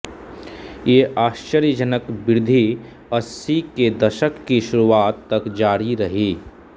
ये आश्चर्यजनक वृद्धि अस्सी के दशक की शुरुआत तक जारी रही